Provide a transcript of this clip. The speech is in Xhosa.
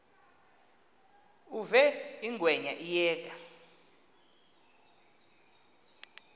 uve ingwenya iyeka